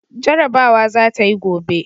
Jarabawa za ta yi gobe!